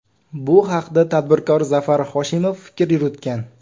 Bu haqda tadbirkor Zafar Hoshimov fikr yuritgan .